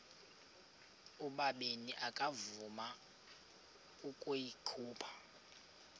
ubabini akavuma ukuyikhupha